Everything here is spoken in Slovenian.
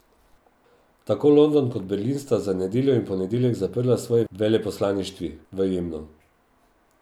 Tako London kot Berlin sta za nedeljo in ponedeljek zaprla svoji veleposlaništvi v Jemnu.